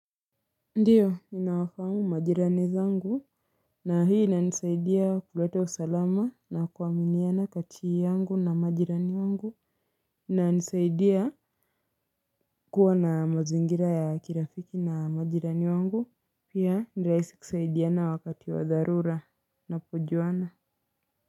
Ndiyo ninawafahamu majirani zangu na hii inanisaidia kuleta usalama na kuaminiana kati yangu na majirani wangu. Inanisaidia kuwa na mazingira ya kirafiki na majirani wangu. Pia ni rahisi kusaidiana wakati wa dharura tunapojuana.